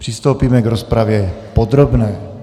Přistoupíme k rozpravě podrobné.